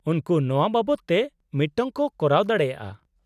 -ᱩᱱᱠᱩ ᱱᱚᱶᱟ ᱵᱟᱵᱚᱫ ᱛᱮ ᱢᱤᱫᱴᱟᱝ ᱠᱚ ᱠᱚᱨᱟᱣ ᱫᱟᱲᱮᱭᱟᱜᱼᱟ ᱾